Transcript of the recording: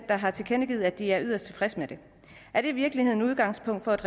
der har tilkendegivet at de er yderst tilfredse med den er det i virkeligheden udgangspunktet